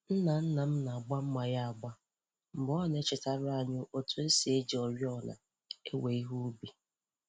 Nna nna m na-agba mma ya agba mgbe ọ na-echetara anyị otú e si eji oriọna ewe ihe ubi.